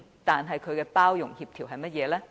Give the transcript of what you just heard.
但他的包容協調是甚麼呢？